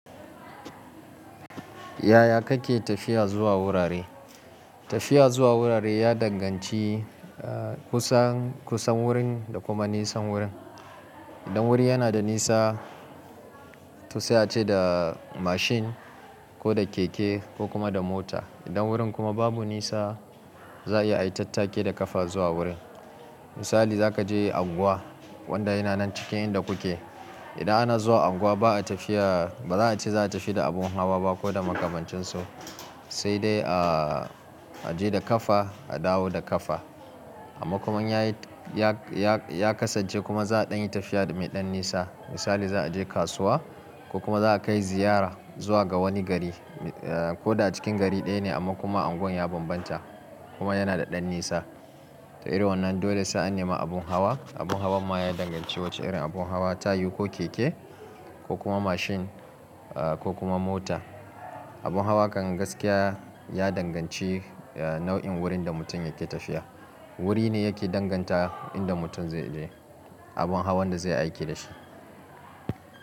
Yaya kake tafiya zuwa wurare? Tafiya zuwa wurare ya danganci kusan, kusan wurin da kuma nisan wurin. Idan wuri yana da nisa to sai aje da mashin ko da keke ko kuma da mota. Idan wurin kuma babu nisa za'a iya ai tattaki da ƙafa zuwa wurin. Misali zakaje unguwa wadda yana nan cikin inda kuke. Idan ana zuwa unguwa ba'a tafiya, ba za'ace za'a tafi da abun hawa ba ko da makamancin su, sai dai aje da kafa a dawo da kafa. Amma kuma in ya kasance kuma za'a ɗanyi tafiya da meɗan nisa. Misali za a je kasuwa ko kuma za'a kai ziyara zuwa ga wani gari koda a cikin gari ɗaya ne amma kuma anguwan ya bambanta kuma yana da ɗan nisa. To irin wannan dole sai an nema abun hawa. Abun hawan ma ya danganci wacce irin abun hawa, ta yiwu ko keke ko kuma mashin ko kuma mota. Abun hawa kan gaskiya ya danganci nau'in wurin da mutum yake tafiya. Wuri ne yake danganta inda mutum zai je abun hawan da zai aiki dashi.